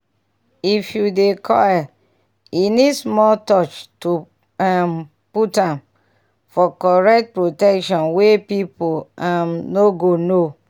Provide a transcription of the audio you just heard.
if you dey coil e need small touch to um put am--for correct protection wey people um no go know